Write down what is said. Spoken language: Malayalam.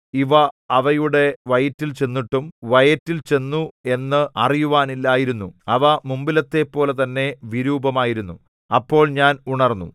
ഇവ അവയുടെ വയറ്റിൽ ചെന്നിട്ടും വയറ്റിൽ ചെന്നു എന്ന് അറിയുവാനില്ലായിരുന്നു അവ മുമ്പിലത്തെപ്പോലെ തന്നെ വിരൂപമായിരുന്നു അപ്പോൾ ഞാൻ ഉണർന്നു